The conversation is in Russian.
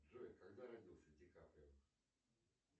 джой когда родился ди каприо